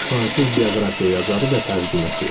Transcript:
Fransız bioqrafiya yazarı və tərcüməçi.